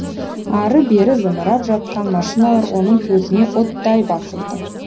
ары бері зымырап жатқан машиналар оның көзіне оттай басылды